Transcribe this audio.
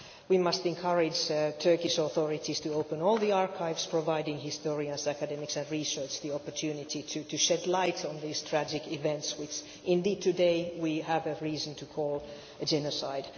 We must encourage the Turkish authorities to open all the archives providing historians, academics and researchers the opportunity to shed light on these tragic events which indeed today we have reason to call genocide.